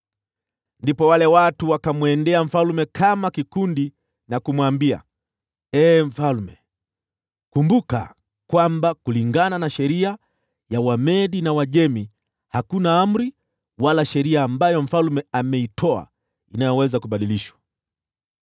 Ndipo wale watu wakamwendea mfalme kama kikundi na kumwambia, “Ee mfalme, kumbuka kwamba kulingana na sheria ya Wamedi na Waajemi, hakuna amri wala sheria ambayo mfalme ameitoa inayoweza kubadilishwa.”